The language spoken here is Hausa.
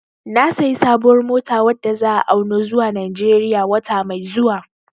Na sayi sabuwar mota wadda za'a auno zuwa Najeriya wata mai zuwa